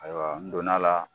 Ayiwa n donna la